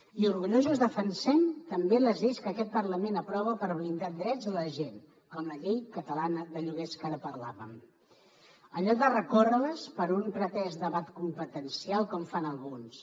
i orgullosos defensem també les lleis que aquest parlament aprova per blindar drets de la gent com la llei catalana de lloguers que ara en parlàvem en lloc de recórrer les per un pretès debat competencial com fan alguns